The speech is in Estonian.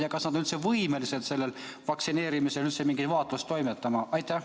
Ja kas nad on üldse võimelised pärast vaktsineerimist mingit vaatlust toimetama?